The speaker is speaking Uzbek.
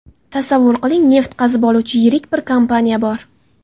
Tasavvur qiling, neft qazib oluvchi yirik bir kompaniya bor.